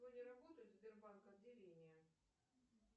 сегодня работают сбербанк отделения